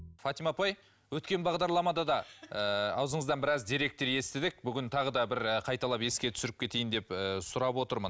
фатима апай өткен бағдарламада да ііі аузыңыздан біраз деректер естідік бүгін тағы да бір қайталап еске түсіріп кетейін деп ііі сұрап отырмын